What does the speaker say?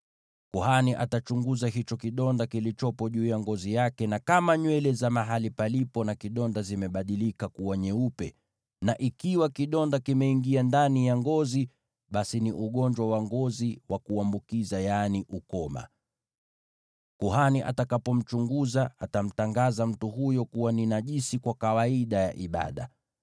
Kuhani atachunguza hicho kidonda kilichopo juu ya ngozi yake, na kama nywele za mahali palipo na kidonda zimebadilika kuwa nyeupe, na ikiwa kidonda kimeingia ndani ya ngozi, basi ni ugonjwa wa ngozi wa kuambukiza, yaani ukoma. Kuhani atakapomchunguza, atamtangaza mtu huyo kuwa ni najisi kwa kawaida ya ibada.